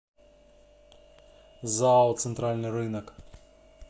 зао центральный рынок